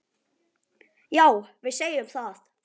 Já, við segjum það.